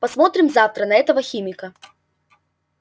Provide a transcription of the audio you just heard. посмотрим завтра на этого химика